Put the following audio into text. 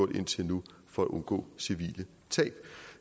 indtil nu for at undgå civile tab